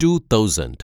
to thousand